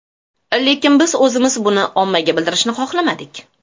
Lekin, biz o‘zimiz buni ommaga bildirishni xohlamadik.